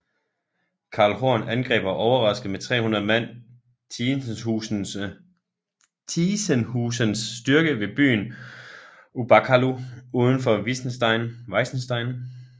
Karl Horn angreb og overraskede med 300 mand Tiesenhusens styrke ved byen Ubakalu uden for Weissenstein